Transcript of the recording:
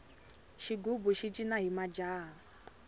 xigubu xi cina hi majaha